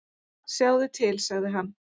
"""Sjáðu til, sagði hann."""